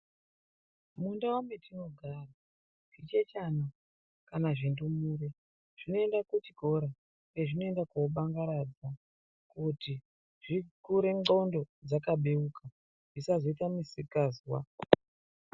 Mundau metinogara zvichechana kana zvindumure zvinoinda kuchikora kwezvinoenda kundobangaradza kuti zvikure ndxondo dzakabeuka, zvisazoita misikazwa.